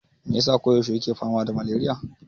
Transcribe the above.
Me yasa ko yaushe yana fama da maleriya?